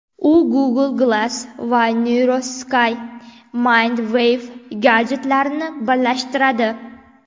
U Google Glass va NeuroSky MindWave gadjetlarini birlashtiradi.